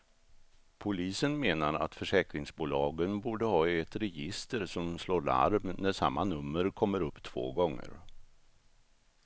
Polisen menar att försäkringsbolagen borde ha ett register som slår larm när samma nummer kommer upp två gånger.